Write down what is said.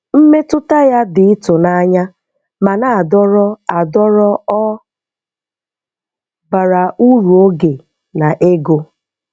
Mmetụta ya dị ịtụnanya ma na-adọrọ adọrọ, ọ bara uru oge na ego.